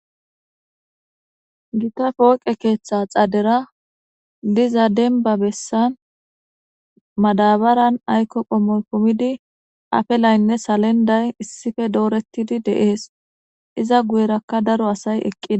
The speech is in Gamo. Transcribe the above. Gita pooqe keeththa xadera diza dembba bessan madabaran aykko qommoy kumidi afilaynne salenday issipe dooretidi de'es. Iza guyerakka daro asay eqqides.